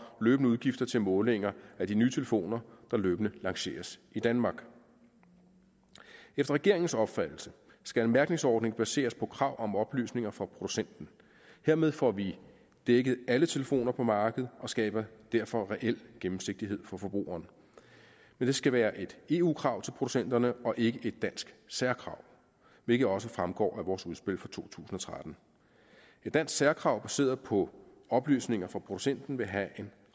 løbende udgifter til målinger af de nye telefoner der løbende lanceres i danmark efter regeringens opfattelse skal en mærkningsordning baseres på krav om oplysninger fra producenten hermed får vi dækket alle telefoner på markedet og skaber derfor reel gennemsigtighed for forbrugeren men det skal være et eu krav til producenterne og ikke et dansk særkrav hvilket også fremgår af vores udspil fra to tusind og tretten et dansk særkrav baseret på oplysninger fra producenten vil have en